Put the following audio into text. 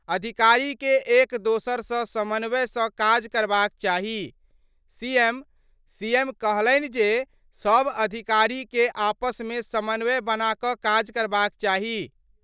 अधिकारी के एक दोसर सं समन्वय सं काज करबाक चाही : सीएम : सीएम कहलनि जे, सब अधिकारी के आपस मे समन्वय बना क' काज करबाक चाही।